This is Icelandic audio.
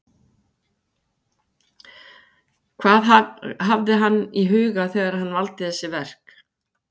Hvað hafði hann í huga þegar hann valdi þessi verk?